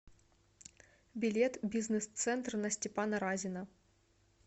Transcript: билет бизнес центр на степана разина